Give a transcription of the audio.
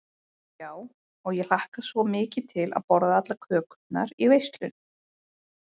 Já, og ég hlakka svo mikið til að borða allar kökurnar í veislunni.